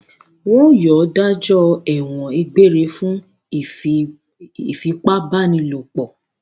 Wọn yóò dájọ́ ẹ̀wọ̀n egbére fún ìfipábánilòpọ̀!